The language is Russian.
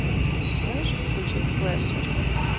можешь включить слэшер